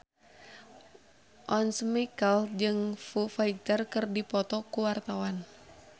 Once Mekel jeung Foo Fighter keur dipoto ku wartawan